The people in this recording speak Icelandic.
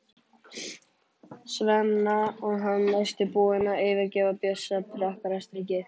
Svenna og hann næstum búinn að fyrirgefa Bjössa prakkarastrikið.